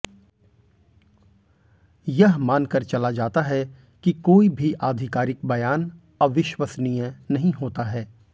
यह मानकर चला जाता है कि कोई भी अधिकारिक बयान अविश्वसनीय नहीं होता है